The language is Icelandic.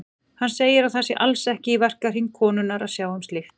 Hann segir að það sé alls ekki í verkahring konunnar að sjá um slíkt.